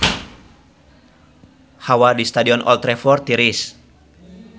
Hawa di Stadion Old Trafford tiris